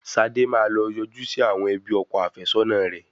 Sade máa lọ yọjú sí àwọn ẹbí ọkọ afẹ́sọ́nà rẹ̀.